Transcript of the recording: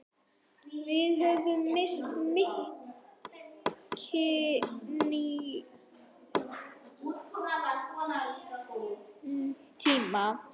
Við höfum misst mikinn tíma.